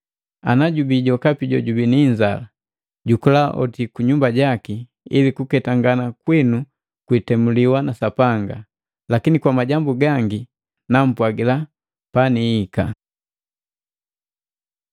Ana jubi jokapi jojubi ni inzala, jukula oti kunyumba jake, ili kuketangana kwinu kwitemuliwa na Sapanga. Lakini kwa majambu gangi, nampwagila paniika.